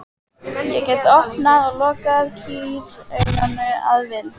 Ég gat opnað og lokað kýrauganu að vild.